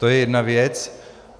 To je jedna věc.